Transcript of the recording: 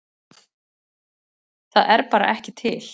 Það er bara ekki til.